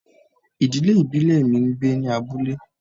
Ìdílé ìbílẹ̀ mi ń gbé ní abúlé